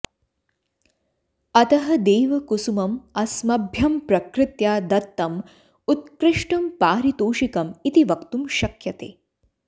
अतः देवकुसुमम् अस्मभ्यं प्रकृत्या दत्तम् उत्कृष्टं पारितोषिकम् इति वक्तुं शक्यते